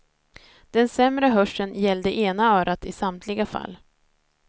Den sämre hörseln gällde ena örat i samtliga fall.